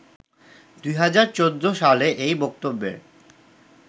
২০১৪ সালে এই বক্তব্যের